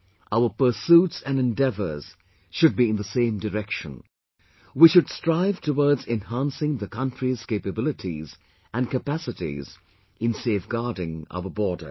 Our pursuits and endeavours should be in the same direction...we should strive towards enhancing the country's capabilities and capacities in safeguarding our borders